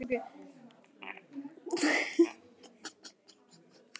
Kikka, hvaða sýningar eru í leikhúsinu á þriðjudaginn?